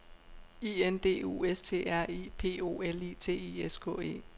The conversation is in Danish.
I N D U S T R I P O L I T I S K E